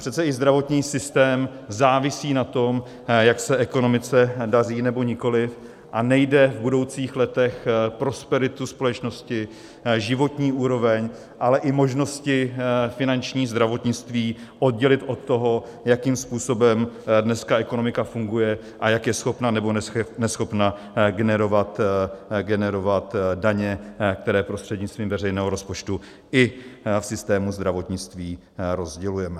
Přece i zdravotní systém závisí na tom, jak se ekonomice daří, nebo nikoli, a nejde v budoucích letech prosperitu společnosti, životní úroveň, ale i možnosti finanční zdravotnictví oddělit od toho, jakým způsobem dneska ekonomika funguje a jak je schopna nebo neschopna generovat daně, které prostřednictvím veřejného rozpočtu i v systému zdravotnictví rozdělujeme.